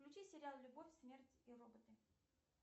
включи сериал любовь смерть и роботы